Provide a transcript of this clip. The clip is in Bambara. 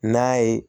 N'a ye